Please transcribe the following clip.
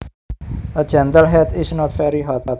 A gentle heat is not very hot